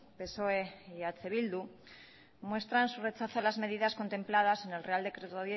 psoe y eh bildu muestran su rechazo a las medidas contempladas en el real decreto